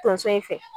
Tonso in fɛ